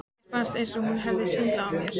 Mér fannst eins og hún hefði svindlað á mér.